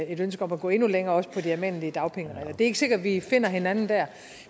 et ønske om at gå endnu længere også på de almindelige dagpengeregler det er ikke sikkert at vi finder hinanden der